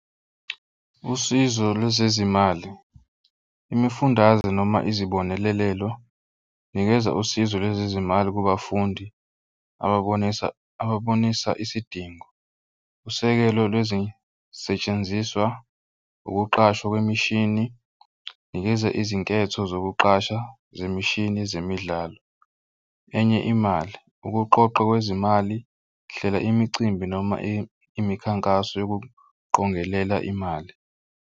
Usizo lwezezimali imifundaze noma izibonelelo. Nikeza usizo lwezezimali kubafundi ababonisa ababonisa isidingo. Usekelo lwezisetshenziswa ukuqashwa kwemishini, nikeze izinketho zokuqasha zemishini zemidlalo. Enye imali ukuqoqwa kwezimali hlela imicimbi noma imikhankaso yokuqongelela imali.